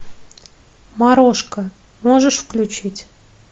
морошка можешь включить